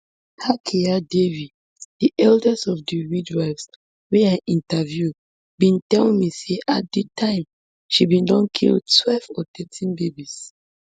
hakiya devi di eldest of di midwives wey i interview bin tell me say at di time she bin don kill twelve or thirteen babies